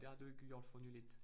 Det har du ikke gjort for nyligt